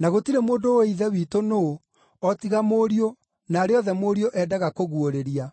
na gũtirĩ mũndũ ũũĩ Ithe witũ nũũ o tiga Mũriũ na arĩa othe Mũriũ endaga kũguũrĩria.”